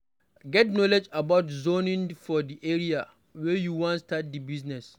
Get knowledge about zoning for di area wey you wan start di business